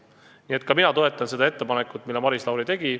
Nii et ka mina toetan ettepanekut, mille Maris Lauri tegi.